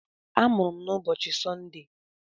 A mụrụ m na ụbọchị Sọnde.